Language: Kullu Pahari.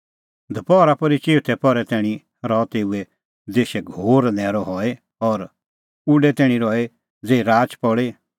दपहरा पोर्ही चिऊथै पहरै तैणीं रहअ तेऊ देशै घोर न्हैरअ हई और उडै तैणीं रही ज़ेही राच पल़ी